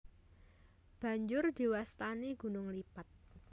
Banjur diwastani gunung lipat